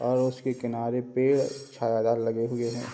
और उसके किनारे पे छायादार लगे हुए हैं।